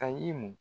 Ayi mun